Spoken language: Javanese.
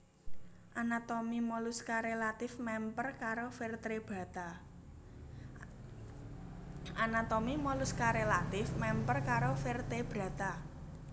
Anatomi moluska relatif mèmper karo vertebrata